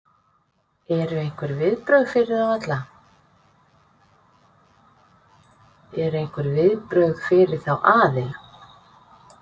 Eru einhver viðbrögð fyrir þá aðila?